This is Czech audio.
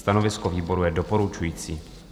Stanovisko výboru je doporučující.